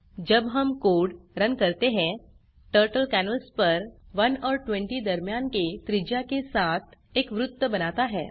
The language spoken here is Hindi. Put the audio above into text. जब हम कोड़ रन करते हैं टर्टल कैनवास पर 1 और 20 दरम्यान के त्रिज्या के साथ एक वृत्त बनाता है